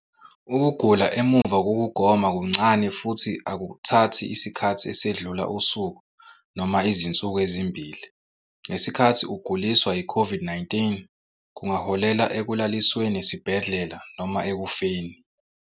Ukugula emuva kokugoma kuncane futhi akuthathi isikhathi esedlula usuku noma izinsuku ezimbili, ngesikhathi ukuguliswa yiCOVID-19 kungaholela ekulalisweni esibhedlela noma ekufeni.